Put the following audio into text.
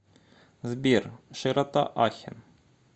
сбер широта ахен